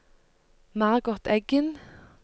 Margot Eggen